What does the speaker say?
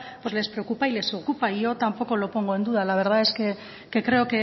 pues le preocupa y les ocupa yo tampoco lo pongo en duda la verdad es que creo